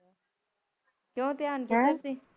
ਕਿਉ ਧਿਆਨ ਕਿਧਰ ਸੀ